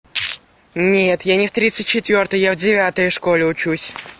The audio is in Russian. нет я не в тридцать четвёртой я в девятой школе учусь